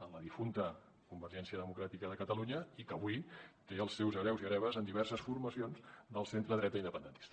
en la difunta convergència democràtica de catalunya i que avui té els seus hereus i hereves en diverses formacions del centredreta independentista